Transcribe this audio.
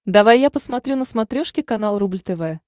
давай я посмотрю на смотрешке канал рубль тв